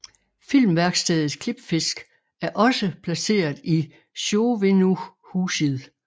Filmværkstedet Klippfisk er også placeret i Sjóvinnuhúsið